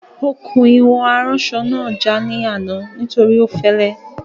Okùn ìwọ̀n aránsọ náà já ní àná nítorí ó fẹ́lẹ́